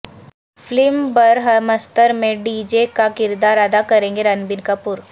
film Brahmastra میں D J کا کردار ادا کریں گے رنبیر کپور